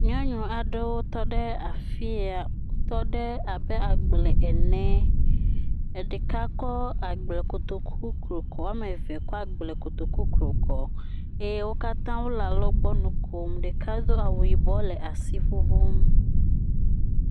Nyɔnu aɖewo tɔ ɖe afi ya wotɔ ɖe abe agble ene, eɖeka kɔ agble kotoku klo kɔ eye woame eve kɔ agble kotoku klo kɔ. Eye wo katã wole alɔgbɔ nu kom eye wole asi ŋuŋum.